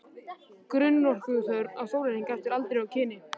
Grunnorkuþörf á sólarhring eftir aldri og kyni